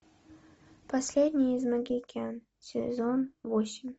последний из могикан сезон восемь